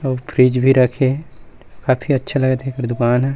अउ फ्रीज भी रखे हे काफी अच्छा लागत हे एकर दुकान ह।